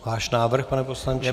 Váš návrh, pane poslanče.